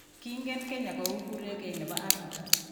Kingen Kenya kou kurekee ne bo Afrika.